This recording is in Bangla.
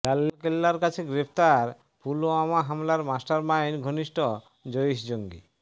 লালকেল্লার কাছে গ্রেফতার পুলওয়ামা হামলার মাস্টারমাইন্ড ঘনিষ্ঠ জইশ জঙ্গি